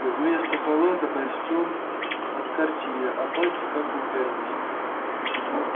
вместо халата костюм от картье а пальцы как у пианиста